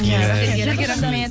иә сіздерге рахмет